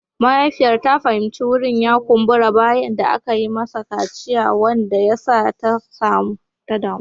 Mahaifiyar ta fahimci wurin ya kumbura bayan da aka yi mashi kaciya wanda ya sa ta damu.